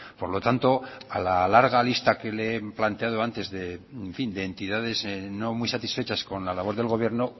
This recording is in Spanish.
por lo tanto a la larga lista que le he planteado antes de entidades no muy satisfechas con la labor del gobierno